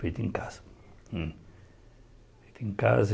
Feito em casa. Hum feito em casa